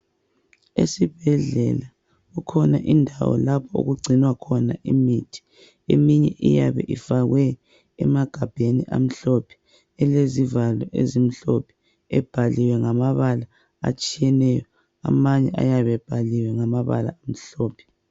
Esibhedlela kukhona indawo lapho okugcinwa khona imithi eminye iyabe ifakwe emagabheni amhlophe, elezivalo ezimhlophe, ebhaliwe ngamabala atshiyeneyo amanye ayabebhaliwe ngamabala amhlophe.